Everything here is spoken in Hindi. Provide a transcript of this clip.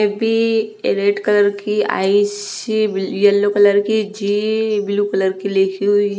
ए_पी रेड कलर की आई_सी येलो कलर की जी ब्लू कलर की लिखी हुई--